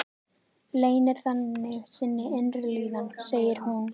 Leynir þannig sinni innri líðan, segir hún.